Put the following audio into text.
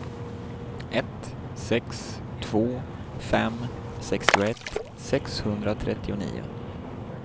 ett sex två fem sextioett sexhundratrettionio